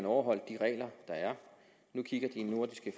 overholde de regler der er nu kigger de nordiske